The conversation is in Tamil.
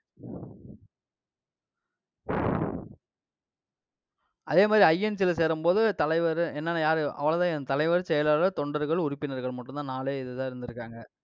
அதே மாதிரி INC ல சேரும்போது, தலைவரு, என்னென்ன யாரு? அவ்வளவுதான்யா தலைவர், செயலாளர், தொண்டர்கள், உறுப்பினர்கள் மட்டும்தான். நாலே இதுதான் இருந்திருக்காங்க.